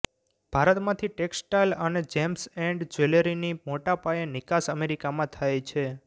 ભારતમાંથી ટેક્સટાઇલ અને gems and જ્વેલરીની મોટા પાયે નિકાસ અમેરિકામાં થાય છે